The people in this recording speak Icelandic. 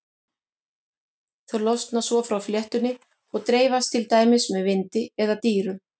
Þau losna svo frá fléttunni og dreifast til dæmis með vindi eða dýrum.